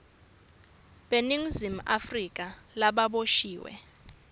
beningizimu afrika lababoshiwe